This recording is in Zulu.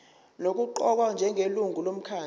nokuqokwa njengelungu lomkhandlu